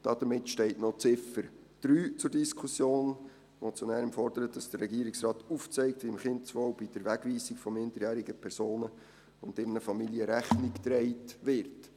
Damit steht noch die Ziffer 3 zur Diskussion, die zum einen fordert, dass der Regierungsrat aufzeigt, wie dem Kindeswohl bei der Wegweisung von minderjährigen Personen und ihren Familien Rechnung getragen wird.